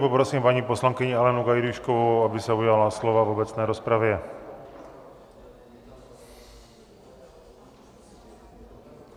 Poprosím paní poslankyni Alenu Gajdůškovou, aby se ujala slova v obecné rozpravě.